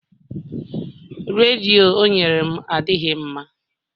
Redio o nyere m adịghị mma